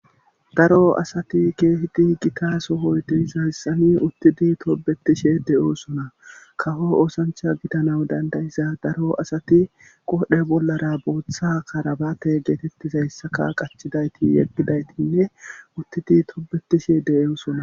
Daro asati geehidi gita sohoytihiza azisxani uttidi tobetishe de'oosona kaho oosancha gidana dandayiza daro asati qodhe bollara booththa karabate geetettizayssaka qachidayti yeggidaytinne uttidi tobetishe de'oosona